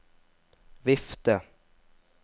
vifte